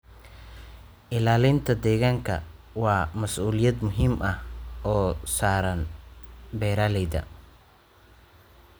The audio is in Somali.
Ilaalinta ilaalinta deegaanka waa mas'uuliyad muhiim ah oo saaran beeralayda.